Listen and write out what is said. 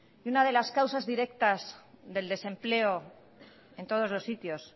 y una de las causas directas del desempleo en todos los sitios